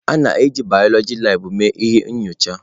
A na-eji biọloji labụ mee ihe nyocha.